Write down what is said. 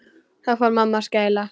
Þá fór mamma að skæla.